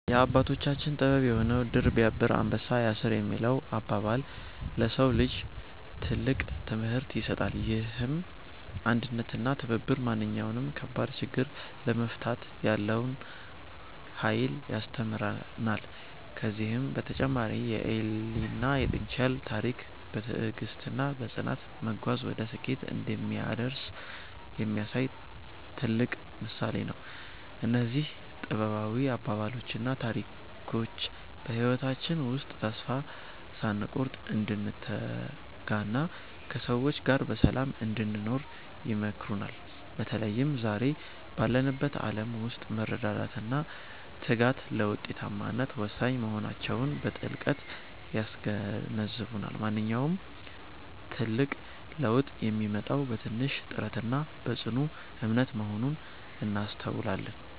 የአባቶቻችን ጥበብ የሆነው "ድር ቢያብር አንበሳ ያስር" የሚለው አባባል፣ ለሰው ልጅ ትልቅ ትምህርት ይሰጣል። ይህም አንድነትና ትብብር ማንኛውንም ከባድ ችግር ለመፍታት ያለውን ኃይል ያስተምረናል። ከዚህም በተጨማሪ የኤሊና የጥንቸል ታሪክ፣ በትዕግስትና በጽናት መጓዝ ወደ ስኬት እንደሚያደርስ የሚያሳይ ትልቅ ምሳሌ ነው። እነዚህ ጥበባዊ አባባሎችና ታሪኮች በህይወታችን ውስጥ ተስፋ ሳንቆርጥ እንድንተጋና ከሰዎች ጋር በሰላም እንድንኖር ይመክሩናል። በተለይም ዛሬ ባለንበት ዓለም ውስጥ መረዳዳትና ትጋት ለውጤታማነት ወሳኝ መሆናቸውን በጥልቀት ያስገነዝቡናል። ማንኛውም ትልቅ ለውጥ የሚመጣው በትንሽ ጥረትና በጽኑ እምነት መሆኑን እናስተውላለን።